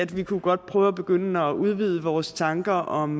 vi kunne godt prøve at begynde at udvide vores tanker om